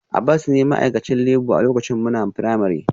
Abbas ne ma'aikacin labour a lokacin muna firamare